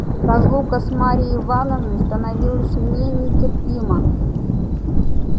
разлука с марьей ивановной становилась мне нетерпима